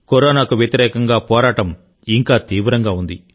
కరోనాకు వ్యతిరేకంగా పోరాటం ఇంకా తీవ్రంగా ఉంది